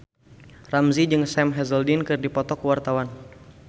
Ramzy jeung Sam Hazeldine keur dipoto ku wartawan